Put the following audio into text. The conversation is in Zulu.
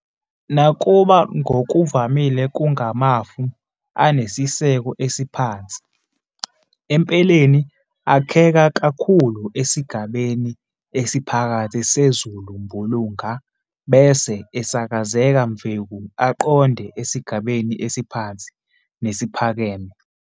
Nakuba ngokuvamile kungamafu anesiseko esiphansi, empeleni akheka kakhulu esigabeni esiphakathi sezulumbulunga bese esakazeka mveku aqonde esigabeni esiphansi nesiphakame.